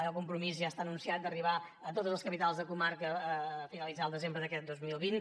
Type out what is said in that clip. el compromís ja està anunciat d’arribar a totes les capitals de comarca en finalitzar el desembre d’aquest dos mil vint